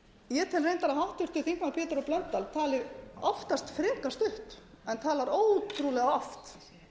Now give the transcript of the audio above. ég tel reyndar að háttvirtur þingmaður pétur h blöndal tali oftast frekar stutt en talar ótrúlega oft